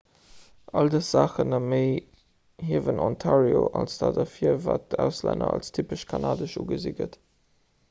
all dës saachen a méi hiewen ontario als dat ervir wat vun auslänner als typesch kanadesch ugesi gëtt